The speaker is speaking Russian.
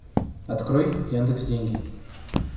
открой яндекс деньги